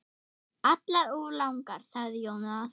Allar of langar, sagði Jónas.